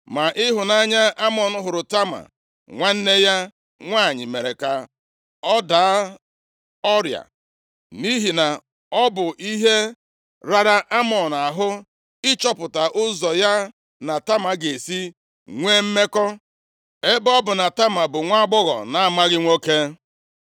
Ma ịhụnanya a Amnọn hụrụ Tama nwanne ya nwanyị mere ya ka ọ daa ọrịa, nʼihi na ọ bụ ihe rara Amnọn ahụ ịchọpụta ụzọ ya na Tama ga-esi nwee mmekọ, ebe ọ bụ na Tama bụ nwaagbọghọ na-amaghị nwoke. + 13:2 Ụmụ nwanyị ndị na-alụbeghị di na-ebi naanị ha nʼebe e doziri ha ọnọdụ. Adịghị ekwe ka ha ga leta ndị ikom, ọ bụladị ndị ụmụnna ha, bụ ndị nna ha mụtara.